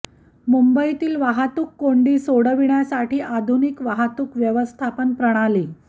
मुंबईतील वाहतूक कोंडी सोडविण्यासाठी आधुनिक वाहतूक व्यवस्थापन प्रणाली